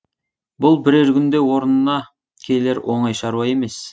бұл бірер күнде орнына келер оңай шаруа емес